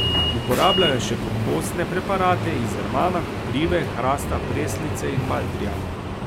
Uporabljajo še kompostne preparate iz rmana, koprive, hrasta, preslice in baldrijana.